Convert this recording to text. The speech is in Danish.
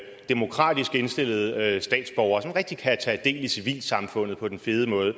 demokratisk indstillede statsborgere som rigtig kan tage del i civilsamfundet på den fede måde